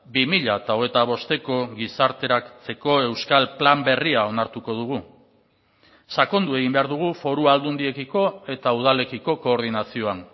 bi mila hogeita bosteko gizarteratzeko euskal plan berria onartuko dugu sakondu egin behar dugu foru aldundiekiko eta udalekiko koordinazioan